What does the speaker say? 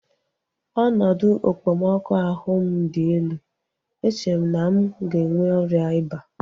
Ọnọdụ okpomọkụ ahụ m dị elu. Eche m na m ga-enwe ọrịa ịba